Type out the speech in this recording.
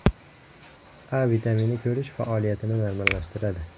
A vitamini ko‘rish faoliyatini normallashtiradi.